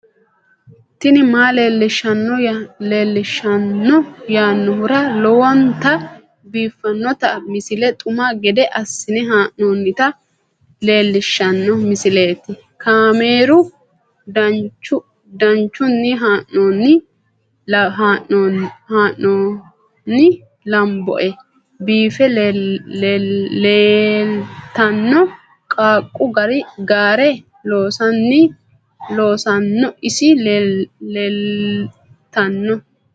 tini maa leelishshanno yaannohura lowonta biiffanota misile xuma gede assine haa'noonnita leellishshanno misileeti kaameru danchunni haa'noonni lamboe biiffe leeeltanno qaaqu gaare loosanno ise leeltanno